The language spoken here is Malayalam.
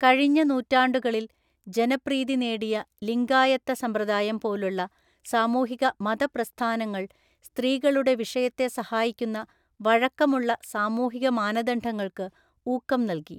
കഴിഞ്ഞ നൂറ്റാണ്ടുകളിൽ ജനപ്രീതി നേടിയ ലിംഗായത്തസമ്പ്രദായം പോലുള്ള സാമൂഹിക മത പ്രസ്ഥാനങ്ങൾ സ്ത്രീകളുടെ വിഷയത്തെ സഹായിക്കുന്ന വഴക്കമുള്ള സാമൂഹിക മാനദണ്ഡങ്ങൾക്ക് ഊക്കം നല്‍കി.